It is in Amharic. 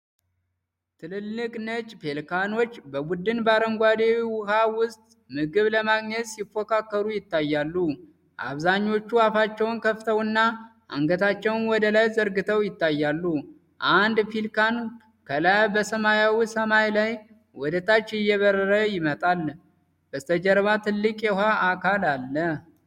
ትልልቅ ነጭ ፔሊካኖች ቡድን በአረንጓዴ ውሃ ውስጥ ምግብ ለማግኘት ሲፎካከሩ ይታያሉ። አብዛኞቹ አፋቸውን ከፍተውና አንገታቸውን ወደላይ ዘርግተው ይታያሉ። አንድ ፔሊካን ከላይ በሰማያዊው ሰማይ ላይ ወደታች እየበረረ ይመጣል። በስተጀርባ ትልቅ የውሃ አካል አለ።